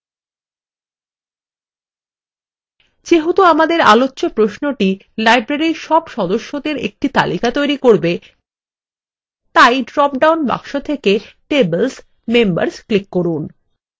যেহেতু আমাদের আলোচ্চ প্রশ্নটি library সব সদস্যদের একটি তালিকা তৈরী করবে তাই drop down box থেকে tables: members click করুন